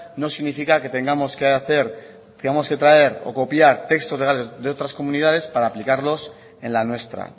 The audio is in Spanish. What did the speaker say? no significa que tengamos traer o copiar textos legales de otras comunidades para aplicarlos en la nuestra